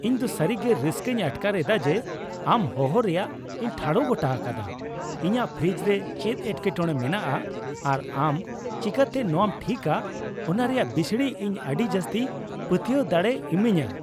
ᱤᱧ ᱫᱚ ᱥᱟᱹᱨᱤᱜᱮ ᱨᱟᱹᱥᱠᱟᱹᱧ ᱟᱴᱠᱟᱨ ᱮᱫᱟ ᱡᱮ ᱟᱢ ᱦᱚᱦᱚ ᱨᱮᱭᱟᱜ ᱤᱧ ᱴᱷᱟᱲᱚ ᱜᱚᱴᱟ ᱟᱠᱟᱫᱟᱼ ᱤᱧᱟᱹᱜ ᱯᱷᱨᱤᱡ ᱨᱮ ᱪᱮᱫ ᱮᱴᱠᱮᱴᱚᱲᱮ ᱢᱮᱱᱟᱜᱼᱟ ᱟᱨ ᱟᱢ ᱪᱤᱠᱟᱹᱛᱮ ᱱᱚᱶᱟᱢ ᱴᱷᱤᱠᱟ ᱚᱱᱟ ᱨᱮᱭᱟᱜ ᱵᱤᱥᱲᱤ ᱤᱧ ᱟᱹᱰᱤ ᱡᱟᱹᱥᱛᱤ ᱯᱟᱹᱛᱭᱟᱹᱣ ᱫᱟᱲᱮᱭ ᱤᱢᱟᱹᱧᱟ ᱾